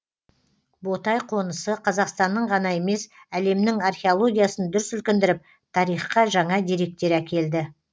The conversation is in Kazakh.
ботай қонысы қазақстанның ғана емес әлемнің археологиясын дүр сілкіндіріп тарихқа жаңа деректер әкелді